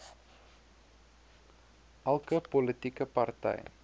elke politieke party